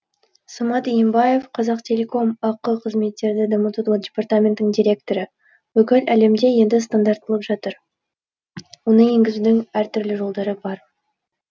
самат иенбаев қазақтелеком ақ қызметтерді дамытудың департаментінің директоры бүкіл әлемде енді стандартталып жатыр оны енгізудің әр түрлі жолдары бар